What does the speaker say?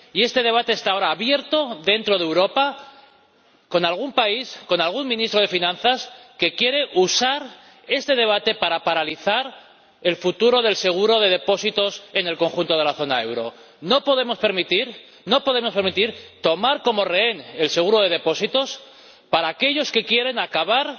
Y este debate está ahora abierto, dentro de Europa, con algún país, con algún ministro de Finanzas que quiere usar este debate para paralizar el futuro del seguro de depósitos en el conjunto de la zona del euro. No podemos permitir que tomen como rehén el seguro de depósitos aquellos que quieren acabar